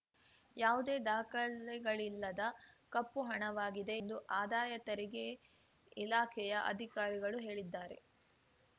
ಯಾವುದೇ ದಾಖಲೆಗಳಿಲ್ಲದ ಕಪ್ಪು ಹಣವಾಗಿದೆ ಎಂದು ಆದಾಯ ತೆರಿಗೆ ಇಲಾಖೆಯ ಅಧಿಕಾರಿಗಳು ಹೇಳಿದ್ದಾರೆ